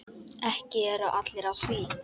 Ekki eru allir á því.